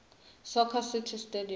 soccer city stadium